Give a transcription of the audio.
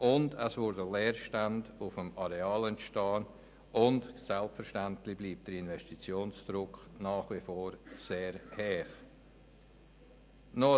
Zudem würden Leerstände auf dem Areal entstehen, und der Investitionsdruck ist selbstverständlich nach wie vor sehr hoch.